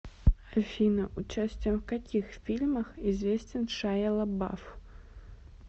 афина участием в каких фильмах известен шайя лабаф